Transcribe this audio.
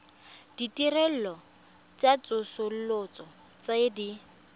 ditirelo tsa tsosoloso tse di